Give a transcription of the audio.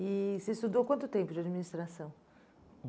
E você estudou quanto tempo de administração?